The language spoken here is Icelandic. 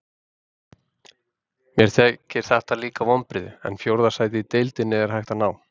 Mér þykir þetta líka vonbrigði, en fjórða sæti í deildinni er hægt að ná.